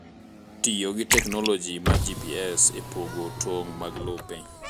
Tiyo gi teknoloji mar GPS e pogo tong’ mag lope.